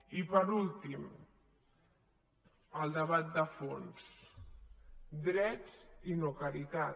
i per últim el debat de fons drets i no caritat